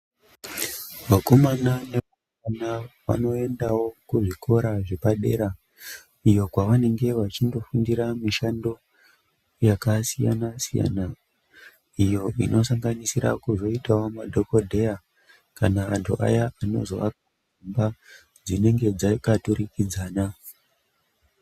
Vakomana nevasikana vanoendawo kuzvikora zvepadera iyo kwavanenge vachindofundira kuita mishando yakasiyana-siyana iyo inosanganisira kuzoitawo madhogodheya kana vantu aya vanozoaka dzimba dzinenge dzakaturikidzana.